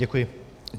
Děkuji.